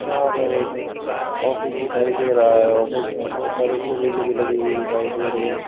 यहां पर एक ऑफिस दिखाई दे रहा है ऑफिस में बहोत सारी एक ग्रिल लगी हुई दिखाई दे रही है।